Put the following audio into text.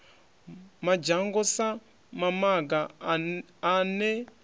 madzhango sa mamaga a ne